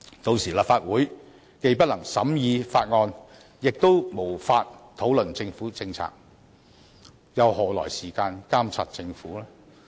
屆時立法會既不能審議法案，亦無法討論政府政策，又何來時間監察政府？